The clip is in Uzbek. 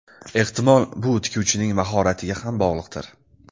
Ehtimol, bu tikuvchining mahoratiga ham bog‘liqdir.